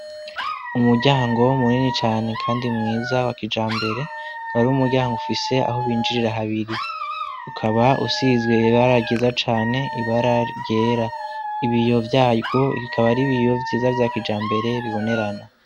Umuryango munini cane kandi mwiza wa kijambere, ukaba ari umuryango ufise aho binjirira habiri, ukaba usize ibara ryiza cane ibara ryera, ibiyo vyarwo bikaba ari ibiyo vyiza vya kijambere bibonerana.